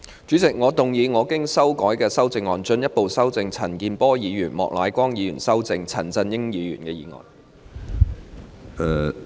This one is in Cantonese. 主席，我動議我經修改的修正案，進一步修正經陳健波議員及莫乃光議員修正的陳振英議員議案。